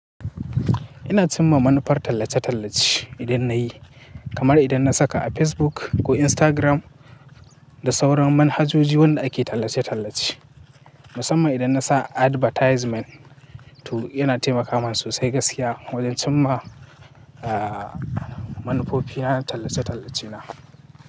Ina cin ma manufar tallace-tallace idan na yi, kamar idan na saka a Facebook ko Instagram, da sauran manhajoji wanda ake tallace-tallace. Musamman idan na sa advertisement to yana taimakawa masu sai gaskiya, wajen cin ma, ah, manfo fi na tallace-tallace na.